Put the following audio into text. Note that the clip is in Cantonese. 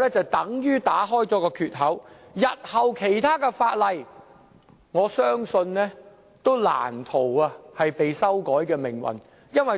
那便會打開一個缺口，而我相信其他法例日後也難逃修改的命運。